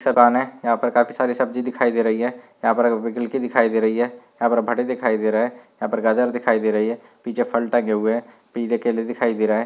समान है यहाँ पर काफ़ी सारी सब्जी दिखाई दे रही है। यहाँ पर दिखाई दे रही है यहाँ पर दिखाई दे रहा है यहाँ पर गाजर दिखाई दे रही है। पीछे फल टंगे हुए हैं पीले केले दिखाई दे रहे हैं।